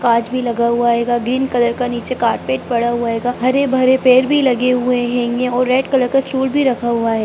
कांच भी लगा हुआ हेगा ग्रीन कलर का नीचे कारपेट पड़ा हुआ हैगा हरे भरे पेड़ भी लगे हुए हेंगे और रेड कलर का चूल भी रखा हुआ है।